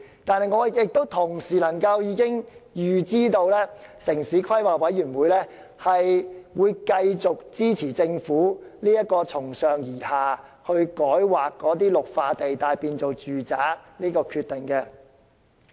但是，我同時能夠預知，城規會會繼續支持政府這個從上而下將綠化地帶改劃為住宅用地的決定。